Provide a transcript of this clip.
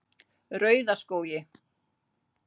Rauðaskógi